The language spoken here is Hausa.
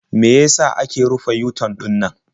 Me ya sa aka rufe yu-tan ɗinannan?